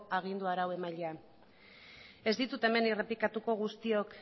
agindu arauemailea ez ditut hemen errepikatuko guztiok